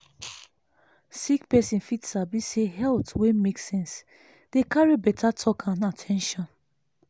sick person fit sabi say health wey make sense dey carry better talk and at ten tion.